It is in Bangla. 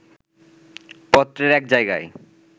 পত্রের এক জায়গায়